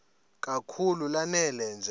kakhulu lanela nje